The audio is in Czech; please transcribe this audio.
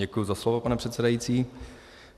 Děkuji za slovo, pane předsedající.